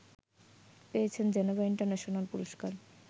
পেয়েছেন Geneva international পুরস্কার